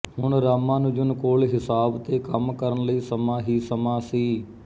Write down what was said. ਹੁਣ ਰਾਮਾਨੁਜਨ ਕੋਲ ਹਿਸਾਬ ਤੇ ਕੰਮ ਕਰਨ ਲਈ ਸਮਾਂ ਹੀ ਸਮਾਂ ਸੀ